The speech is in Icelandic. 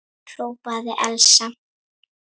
hrópaði Elsa.